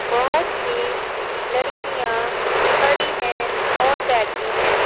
बहुत सी लड़कियां खड़ी हैं और बैठी हैं।